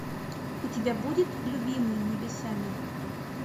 у тебя будет любимый небесами